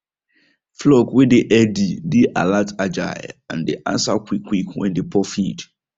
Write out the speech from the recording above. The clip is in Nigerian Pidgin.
flock way dey healthy dey alertagile and dey answer quick quick when dem pour feed